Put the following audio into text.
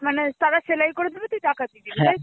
মানে তারা সেলাই করে দেবে তুই টাকা দিবি. তাই তো?